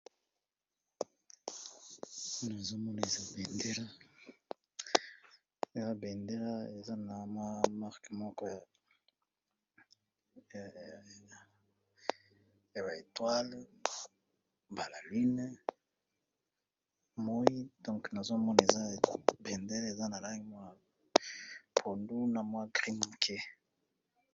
nazomonisa a bendele eza na mwa moko ya etoile balaline moi nazomona eza bendele eza na lange mwa pondu na mwa grine